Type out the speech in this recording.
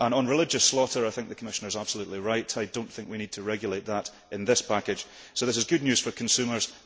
On religious slaughter, I think the Commissioner is absolutely right. I do not think we need to regulate that in this package, so this is good news for consumers.